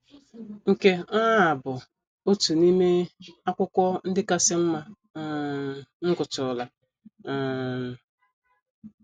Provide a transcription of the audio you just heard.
Nke um a bụ otu n’ime akwụkwọ ndị kasị mma um m gụtụrụla. um